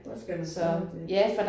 Hvor skal man finde det